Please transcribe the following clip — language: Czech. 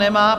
Nemá.